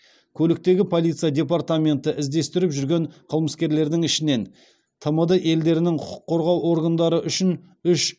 көліктегі полиция департаменті іздестіріп жүрген қылмыскерлердің ішінен тмд елдерінің құқық қорғау органдары үшін үш